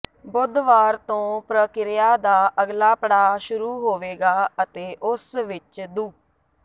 ਬੁੱਧਵਾਰ ਤੋਂ ਪ੍ਰਕਿਰਿਆ ਦਾ ਅਗਲਾ ਪੜਾਅ ਸ਼ੁਰੂ ਹੋਵੇਗਾ ਅਤੇ ਉਸ ਵਿਚ ਦੁ